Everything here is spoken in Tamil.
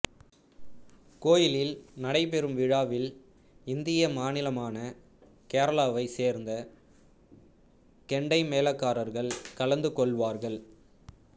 கோயிலில் நடைபெறும் விழாவில் இந்திய மாநிலமான கேரளாவைச் சேர்ந்த கெண்டை மேளக்காரர்கள் கலந்து கொள்வார்கள்